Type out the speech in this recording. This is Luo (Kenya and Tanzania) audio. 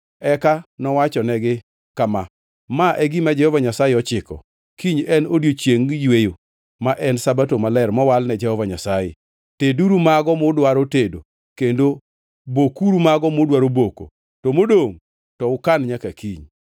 Eka nowachonegi kama, “Ma e gima Jehova Nyasaye ochiko, ‘Kiny en odiechieng yweyo, ma en Sabato maler mowal ne Jehova Nyasaye. Teduru mago mudwaro tedo kendo bokuru mago mudwaro boko, to modongʼ to ukan nyaka kiny.’ ”